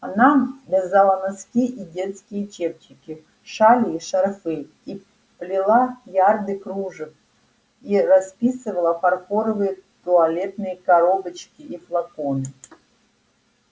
она вязала носки и детские чепчики шали и шарфы и плела ярды кружев и расписывала фарфоровые туалетные коробочки и флаконы